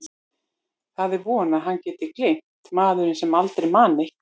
Það er von að hann geti gleymt, maðurinn sem aldrei man neitt.